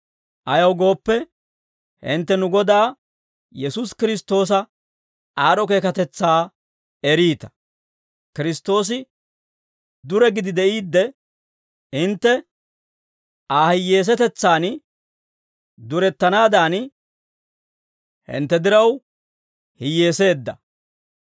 Ayaw gooppe, hintte nu Godaa Yesuusi Kiristtoosa aad'd'o keekatetsaa eriita; Kiristtoosi dure gidi de'iide, hintte Aa hiyyeesatetsan durettanaadan, hintte diraw hiyyeeseedda.